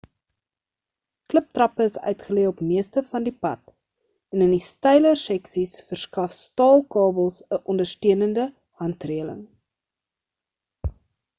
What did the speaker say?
kliptrappe is uitgelê op meeste van die pad en in die steiler seksies verskaf staal kabels 'n ondersteunende handreling